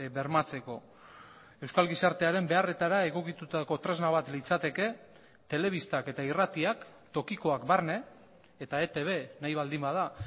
bermatzeko euskal gizartearen beharretara egokitutako tresna bat litzateke telebistak eta irratiak tokikoak barne eta etb nahi baldin bada